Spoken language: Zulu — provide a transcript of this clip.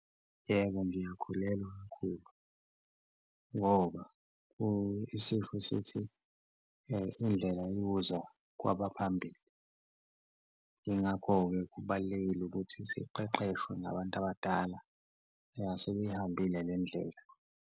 Yebo, ngiyakholelwa kakhulu ngoba isisho sithi indlela ibuzwa kwabaphambili, ingakho-ke kubalulekile ukuthi siqeqeshwe ngabantu abadala asebeyihambile le ndlela.